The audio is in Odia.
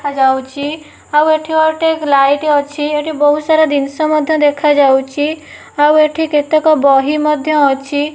ଦେଖାଯାଉଛି। ଆଉ ଏଠି ଗୋଟେ ଲାଇଟ୍ ଅଛି ଏଠି ବହୁତ୍ ସାରା ଦିନ୍ଷ ମଧ୍ୟ ଦେଖାଯାଉଛି। ଆଉ ଏଠି କେତେକ ବହି ମଧ୍ୟ ଅଛି।